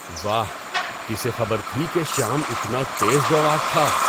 واہ! کسے خبر تھی کہ شیام اتنا تیز دوڑاک تھا؟